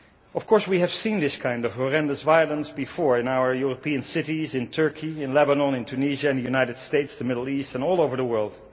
Of course, we have seen this kind of horrendous violence before in our European cities, in Turkey, in Lebanon, in Tunisia, the United States, the Middle East and all over the world.